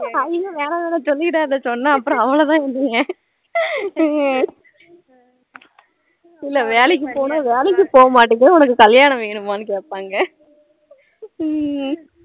ஐய்யோ வேணா வேணா சொல்லிடாத சொன்னா அப்றம் அவ்வளோதான் என்னைய இல்லை வேலைக்கு போனா வேலைக்கு போக மாடுக்க உனக்கு கல்யாணம் வேணுமானு கேப்பாங்க ஹம்